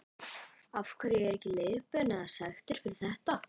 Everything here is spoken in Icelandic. Af hverju er ekki leikbönn eða sektir fyrir þetta?